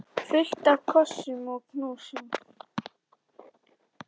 Fullt af kossum og knúsum.